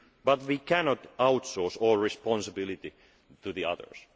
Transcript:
other. But we cannot outsource all responsibility to the others.